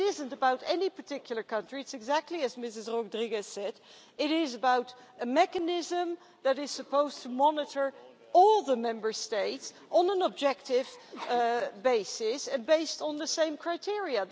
It isn't about any particular country, it's exactly as Mrs Rodrigues said it is about a mechanism that is supposed to monitor all the Member States on an objective basis, based on the same criteria.